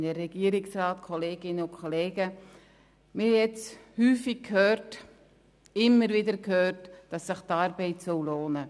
Wir haben jetzt häufig gehört, dass sich die Arbeit lohnen soll.